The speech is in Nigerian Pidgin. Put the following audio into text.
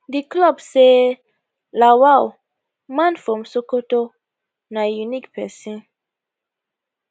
di club say lawal man from sokoto na unique pesin